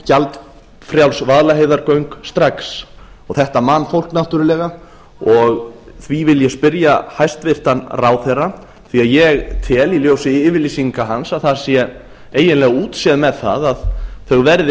gjaldfrjáls vaðlaheiðargöng strax þetta man fólk náttúrlega og því vil ég spyrja hæstvirtan samgönguráðherra því ég tel í ljósi yfirlýsinga hans að það sé eiginlega útséð með það að þau verði